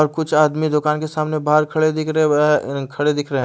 और कुछ आदमी दुकान के सामने बाहर खड़े दिख रहे हैं वह अ खड़े दिख रहे हैं।